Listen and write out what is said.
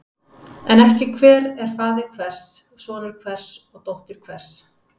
En ekki hver er faðir hvers, sonur hvers og dóttir hvers.